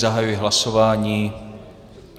Zahajuji hlasování.